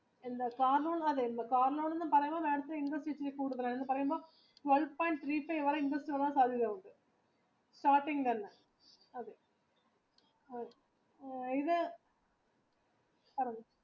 car loan നിന് അത് ഇല്ല കാര് ലോൺ എന്ന് പറയുമ്പോൾ interest ഇച്ചിരി കൂടുതലാണ് എന്ന് പറയുമ്പോൾ twelve പോയിന്റ് nine കൂടുതലാണ്